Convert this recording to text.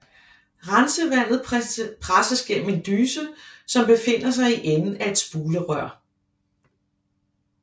Rensevandet presses gennem en dyse som befinder sig i enden af et spulerør